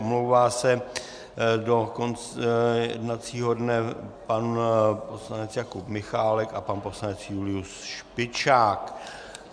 Omlouvá se do konce jednacího dne pan poslanec Jakub Michálek a pan poslanec Julius Špičák.